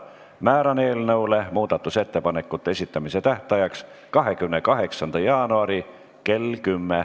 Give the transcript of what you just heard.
Määran eelnõu muudatusettepanekute esitamise tähtajaks 28. jaanuari kell 10.